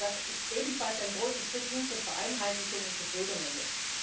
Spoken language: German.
Das ist ebenfalls ein großer Schritt hin zu Vereinheitlichung und Bürgernähe.